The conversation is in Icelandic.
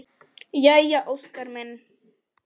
Jæja Óskar minn!